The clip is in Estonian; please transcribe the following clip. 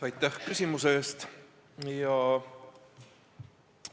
Aitäh küsimuse eest!